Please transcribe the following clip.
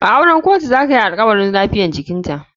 A auren kotu zakayi alkawarin lafiyar jikinta.